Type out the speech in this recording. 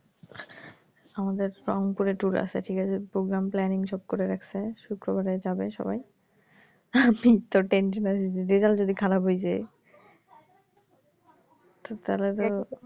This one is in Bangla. আমাদের পুরে tour আছে ঠিক আছে programme planning সব করে রাখছে শুক্রবারে যাবে সবাই আমিতো tension এ আছি result যদি খারাপ হয়ে যায়, তো তাহলে তো